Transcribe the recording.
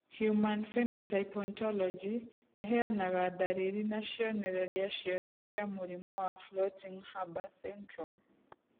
Human Phenotype Ontology ĩheanaga ndariri na cionereria ciothe cia mũrimũ wa Floating Harbor syndrome